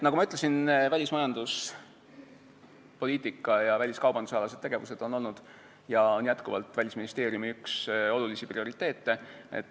Nagu ma ütlesin, välismajanduspoliitika ja väliskaubandusalased tegevused on olnud ja on jätkuvalt Välisministeeriumi üks olulisi prioriteete.